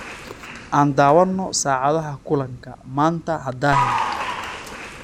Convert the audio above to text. Aan daawano saacadaha kulanka, maanta ha daahin.